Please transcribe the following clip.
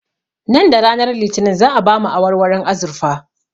Nan da ranar litinin za'a ba mu awarwaron azurfa